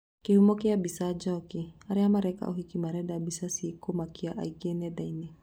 Kĩhumo kĩa mbica, Njoki, "Arĩa mareka ũhiki marenda mbica cikũmakia aingĩ nendainĩ.